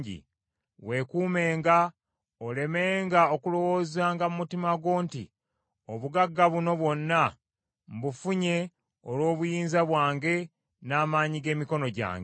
Weekuumenga, olemenga okulowoozanga mu mutima gwo nti, ‘Obugagga buno bwonna mbufunye olw’obuyinza bwange n’amaanyi g’emikono gyange.’